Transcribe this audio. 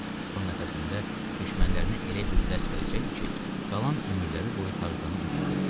Son nəfəsində düşmənlərinə elə bir dərs verəcəkdi ki, qalan ömürləri boyu Tarzanı unutmasınlar.